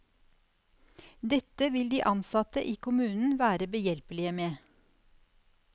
Dette vil de ansatte i kommunen være behjelpelige med.